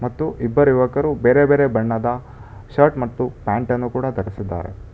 ಮತ್ತು ಇಬ್ಬರಿವಕರು ಬೇರೆ ಬೇರೆ ಬಣ್ಣದ ಶರ್ಟ್ ಮತ್ತು ಪ್ಯಾಂಟನ್ನು ಕೂಡ ಧರಿಸಿದ್ದಾರೆ.